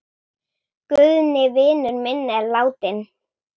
Guðni vinur minn er látinn.